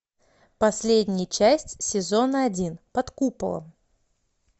последняя часть сезона один под куполом